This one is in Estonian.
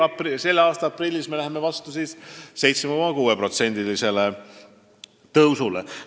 Tänavu aprillis me lähme vastu pensionide 7,6%-lisele tõusule.